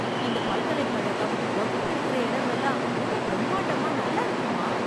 இந்த பல்கலை கழகம், வகுப்பு இருக்கற இடம் எல்லாம் ரொம்ப பிரமாண்டமா நல்லாருக்குமா.